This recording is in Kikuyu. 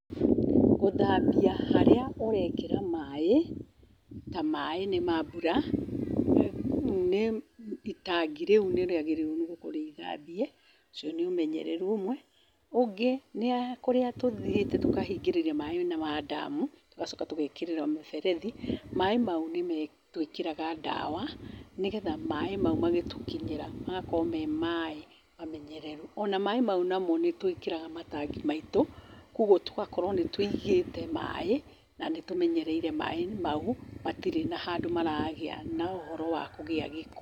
Gũthambia harĩa ũrekĩra maaĩ, ta maaĩ nĩ ma mbura itangi rĩu nĩ nĩrĩagĩrĩirwo gũkorwo rĩ irĩthambie, ũcio nĩ ũmenyereru ũmwe. Ũngĩ nĩkũria tũthiĩte tũkahingĩrĩria maaĩ ma ndamu tugacoka tũgekĩra mĩberethi maaĩ mau nĩtũĩkĩraga ndawa nĩgetha maaĩ mau magĩtũkinyĩra magakorwo me maaĩ mamenyerere, ona maaĩ mau nĩtwĩkĩraga matangi maitũ koguo tũgakorwo nĩtũigĩte maaĩ na nĩtũmenyereire maaĩ mau matirĩ handũ maragĩa na ũhoro wa kũgĩa gĩko.